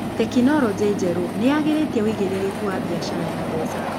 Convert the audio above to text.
Tekinoronjĩ njerũ nĩyagĩrĩtie uigĩrĩrĩku wa biacara ya mbeca.